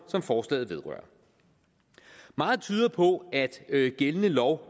som forslaget vedrører meget tyder på at gældende lov